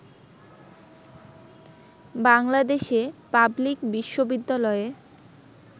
বাংলাদেশে পাবলিক বিশ্ববিদ্যালয়ে